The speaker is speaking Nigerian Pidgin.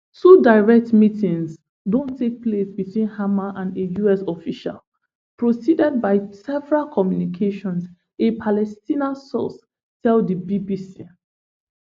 two direct meetings don take place between hamas and a us official preceded by several communications a palestinian source tell di bbc